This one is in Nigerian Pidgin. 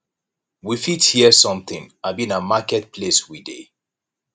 we fit hear something abi na market place we dey